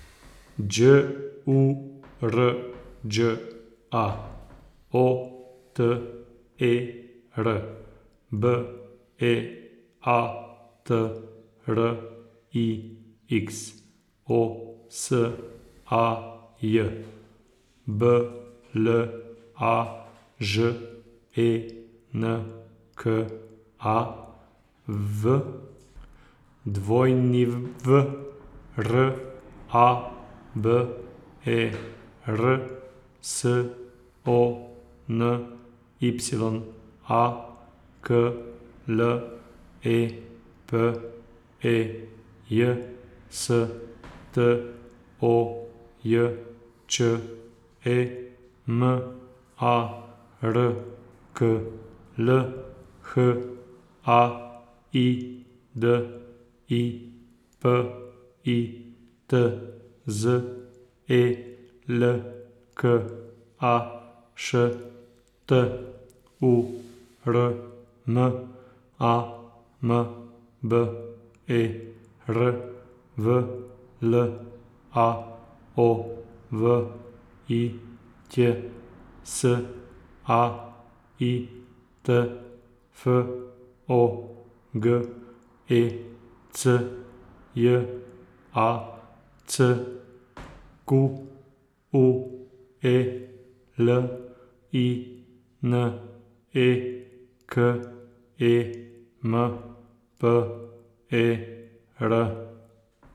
Đ U R Đ A, O T E R; B E A T R I X, O S A J; B L A Ž E N K A, V W R A B E R; S O N Y A, K L E P E J; S T O J Č E, M A R K L; H A I D I, P I T Z; E L K A, Š T U R M; A M B E R, V L A O V I Ć; S A I T, F O G E C; J A C Q U E L I N E, K E M P E R.